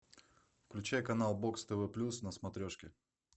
включай канал бокс тв плюс на смотрешке